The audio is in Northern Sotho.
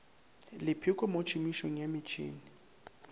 lepheko mo tšhomišong ya metšhene